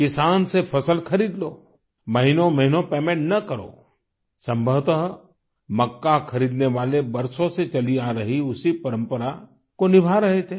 किसान से फसल खरीद लो महीनों महीनों पेमेन्ट न करो संभवतः मक्का खरीदने वाले बरसों से चली आ रही उसी परंपरा को निभा रहे थे